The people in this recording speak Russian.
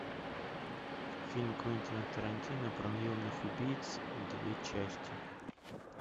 фильм квентина тарантино про наемных убийц две части